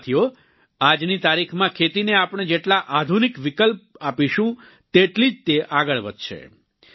સાથીઓ આજની તારીખમાં ખેતીને આપણે જેટલા આધનિક વિકલ્પ આપશું તેટલી જ તે આગળ વધશે